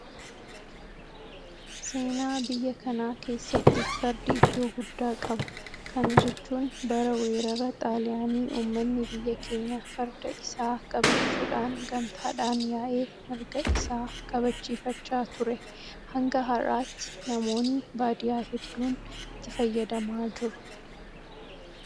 Seenaa biyya kanaa keessatti fardi iddoo guddaa qaba. Kana jechuun bara weerara Xaaliyaanii uummanni biyya keenyaa farda isaa qabachuudhaan gamtaadhaan yaa'ee mirga isaa kabachiifachaa ture. Hanga har'aatti namoonni baadiyyaa hedduun itti fayyadamaa jiru.